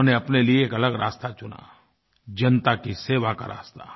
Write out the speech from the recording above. उन्होंने अपने लिए एक अलग रास्ता चुना जनता की सेवा का रास्ता